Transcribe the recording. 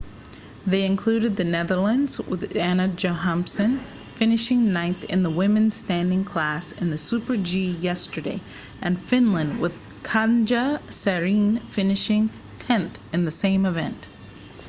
they include the netherlands with anna jochemsen finishing ninth in the women's standing class in the super-g yesterday and finland with katja saarinen finishing tenth in the same event